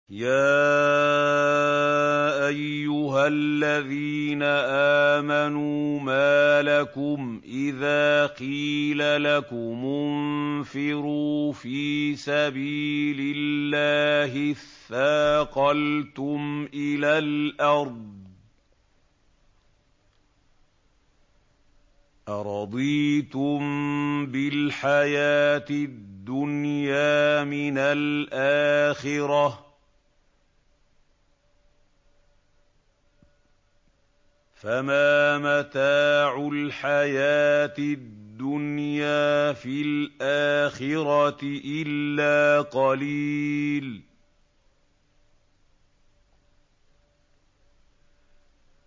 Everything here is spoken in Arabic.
يَا أَيُّهَا الَّذِينَ آمَنُوا مَا لَكُمْ إِذَا قِيلَ لَكُمُ انفِرُوا فِي سَبِيلِ اللَّهِ اثَّاقَلْتُمْ إِلَى الْأَرْضِ ۚ أَرَضِيتُم بِالْحَيَاةِ الدُّنْيَا مِنَ الْآخِرَةِ ۚ فَمَا مَتَاعُ الْحَيَاةِ الدُّنْيَا فِي الْآخِرَةِ إِلَّا قَلِيلٌ